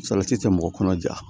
Salati tɛ mɔgɔ kɔnɔ ja